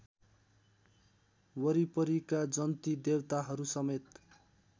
वरिपरिका जन्ती देवताहरूसमेत